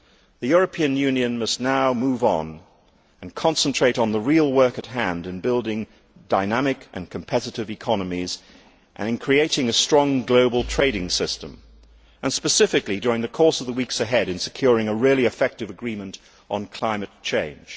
The European Union must now move on and concentrate on the real work at hand, in building dynamic and competitive economies and in creating a strong global trading system and, specifically during the course of the weeks ahead, in securing a really effective agreement on climate change.